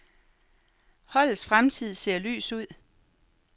Holdets fremtid ser lys ud .